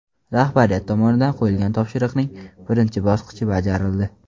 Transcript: Rahbariyat tomonidan qo‘yilgan topshiriqning birinchi bosqichi bajarildi.